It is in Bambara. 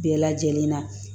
Bɛɛ lajɛlen na